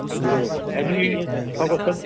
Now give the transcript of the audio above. ବୁଝିଲୁ କି ନାଇଁ ଠାଇନୁ ବି ଠଗ ସବ